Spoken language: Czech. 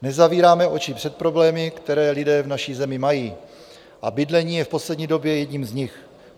Nezavíráme oči před problémy, které lidé v naší zemi mají, a bydlení je v poslední době jedním z nich.